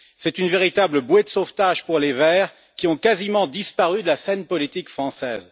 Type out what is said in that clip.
C'est une véritable bouée de sauvetage pour les Verts, qui ont quasiment disparu de la scène politique française.